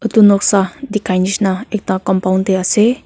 etu noksa dikhai nishi na ekta compound te ase.